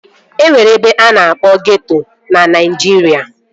E nwere ebe a na-akpọ ghetto na Naịjirịa